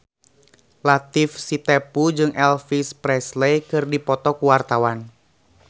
Latief Sitepu jeung Elvis Presley keur dipoto ku wartawan